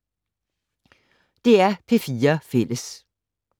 DR P4 Fælles